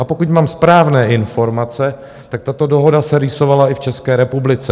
A pokud mám správné informace, tak tato dohoda se rýsovala i v České republice.